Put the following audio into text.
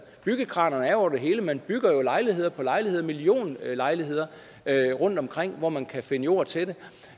byggekranerne er over det hele man bygger lejligheder på lejligheder millionlejligheder rundtomkring hvor man kan finde jord til det